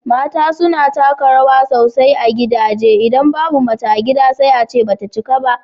mata suna taka rawa sosai a gidaje, idan babu mace a gida sai a ce ba ta cika ba.